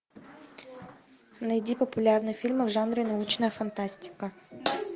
найди популярные фильмы в жанре научная фантастика